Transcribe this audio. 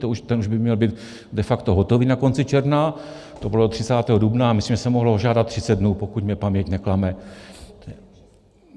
Ten už by měl být de facto hotový na konci června, to bylo 30. dubna, myslím, že se mohlo žádat 30 dnů, pokud mě paměť neklame.